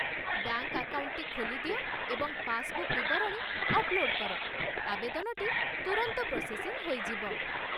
Bank ଆକାଉଣ୍ଟଟି ଖୋଲି ଦିଅ ଏବଂ ପାସବୁକ୍ ବିବରଣୀ ଅପ୍‌ଲୋଡ଼୍ କର, ଆବେଦନଟି ତୁରନ୍ତ ପ୍ରୋସେସିଙ୍ଗ ହୋଇଯିବ।